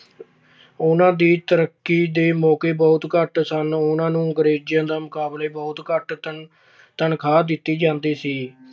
ਉਨ੍ਹਾਂ ਦੇ ਤਰੱਕੀ ਦੇ ਮੌਕੇ ਬਹੁਤ ਘੱਟ ਸਨ। ਉਨ੍ਹਾਂ ਨੂੰ ਅੰਗਰੇਜ਼ਾਂ ਦੇ ਮੁਕਾਬਲੇ ਬਹੁਤ ਘੱਟ ਤਨਖਾਹ ਦਿੱਤੀ ਜਾਂਦੀ ਸੀ।